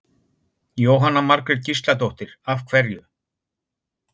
Jóhanna Margrét Gísladóttir: Af hverju?